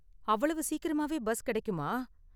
அவ்வளவு சீக்கிரமாவே பஸ் கிடைக்குமா?